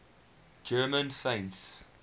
german saints